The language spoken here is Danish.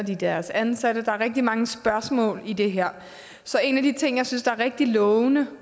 deres ansatte der er rigtig mange spørgsmål i det her så en af de ting jeg synes er rigtig lovende